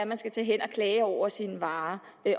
man skal tage hen og klage over sine varer